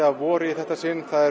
að vori í þetta sinn það